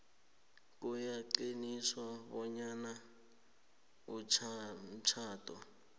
kuyaqiniswa bonyana umtjhado